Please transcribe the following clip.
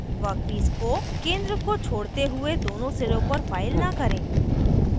workpiece को केंद्र को छोड़ते हुए दोनों सिरों पर फाइल न करें